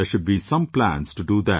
There should be some plans to do that